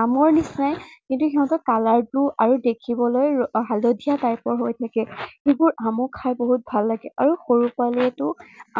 আমৰ নিচিনাই, কিন্তু সিহঁতৰ color টো আৰু দেখিবলৈ হালধীয়া type ৰ হৈ থাকে। যিবোৰ আমক খাই বহুত ভাল লাগে। আৰু সৰু ছোৱালীয়েতো